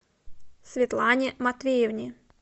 светлане матвеевне